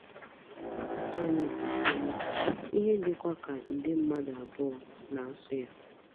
Asụsụ anyị bụ Tulu, ihe dịkwa ka nde mmadụ abụọ na - asụ ya.